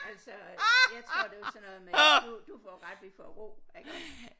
Altså jeg tror det var sådan noget med du du får ret vi får ro iggå